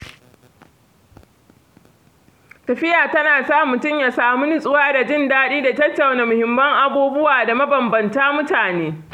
Tafiya ta na sa mutum ya sami nutsuwa da jin daɗi da tattauna muhimman abubuwa da mabanbantan mutane.